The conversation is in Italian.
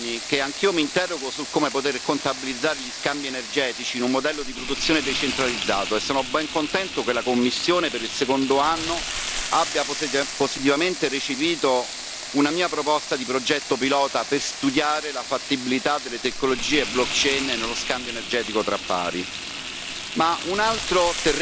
In questo ultimo settore sono anni che anch'io mi interrogo sul come poter contabilizzare gli scambi energetici in un modello di produzione decentralizzato e sono ben contento che la Commissione per il secondo anno abbia positivamente recepito una mia proposta di progetto pilota per studiare la fattibilità delle tecnologie blockchain nello scambio energetico tra pari.